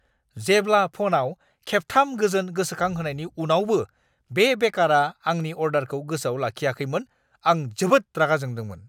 जेब्ला फ'नआव खेबथाम गोजोन गोसोखांहोनायनि उनावबो बे बेकारआ आंनि अर्डारखौ गोसोआव लाखियाखैमोन, आं जोबोद रागा जोंदोंमोन!